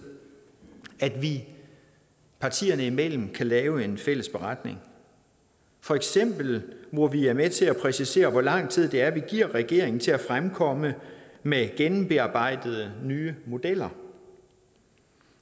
at vi partierne imellem kan lave en fælles beretning for eksempel hvor vi er med til at præcisere hvor lang tid det er vi giver regeringen til at fremkomme med gennembearbejdede nye modeller